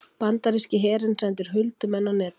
Bandaríski herinn sendir huldumenn á Netið